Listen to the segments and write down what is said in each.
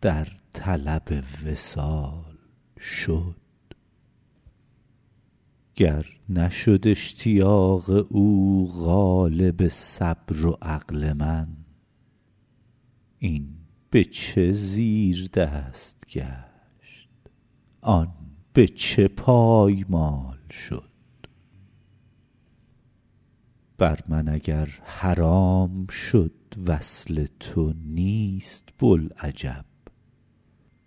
در طلب وصال شد گر نشد اشتیاق او غالب صبر و عقل من این به چه زیردست گشت آن به چه پایمال شد بر من اگر حرام شد وصل تو نیست بوالعجب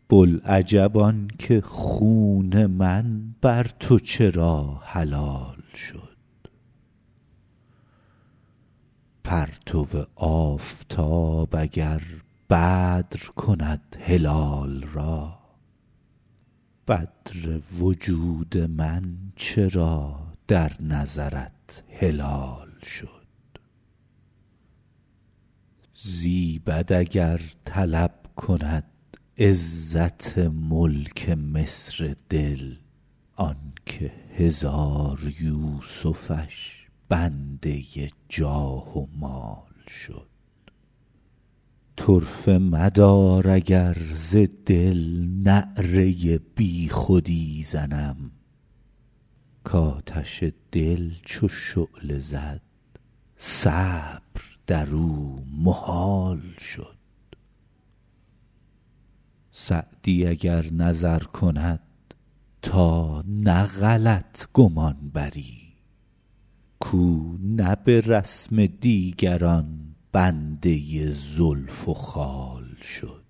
بوالعجب آن که خون من بر تو چرا حلال شد پرتو آفتاب اگر بدر کند هلال را بدر وجود من چرا در نظرت هلال شد زیبد اگر طلب کند عزت ملک مصر دل آن که هزار یوسفش بنده جاه و مال شد طرفه مدار اگر ز دل نعره بی خودی زنم کآتش دل چو شعله زد صبر در او محال شد سعدی اگر نظر کند تا نه غلط گمان بری کاو نه به رسم دیگران بنده زلف و خال شد